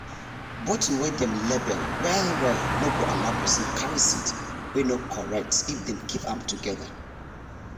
bottle wey dem label well well no go allow person carry seed wey no correct if dem keep am together